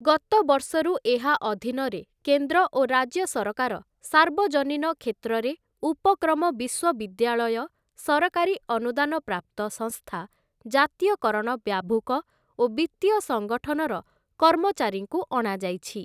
ଗତବର୍ଷରୁ ଏହା ଅଧୀନରେ କେନ୍ଦ୍ର ଓ ରାଜ୍ୟ ସରକାର ସାର୍ବଜନୀନ କ୍ଷେତ୍ରରେ ଉପକ୍ରମ ବିଶ୍ଵବିଦ୍ୟାଳୟ ସରକାରୀ ଅନୁଦାନପ୍ରାପ୍ତ ସଂସ୍ଥା ଜାତୀୟକରଣ ବ୍ୟାଭୂକ ଓ ବିତ୍ତୀୟ ସଙ୍ଗଠନର କର୍ମଚାରୀଙ୍କୁ ଅଣାଯାଇଛି ।